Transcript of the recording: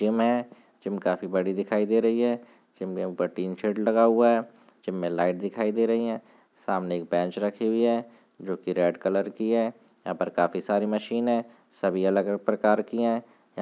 gym है gym काफी बड़ी दिखाई दे रही है ज़िम विम पर तीन शर्ट लगा हुआ है ज़िम में लाइट दिखाई दे रही है सामने एक बैंच रखी हुई है जो की रेड कलर की है यहाँ पर काफी सारी मशीन है सभी अलग- अलग प्रकार की है य --